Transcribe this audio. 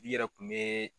I yɛrɛ kun bɛ